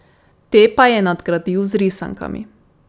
Te pa je nadgradil z risankami.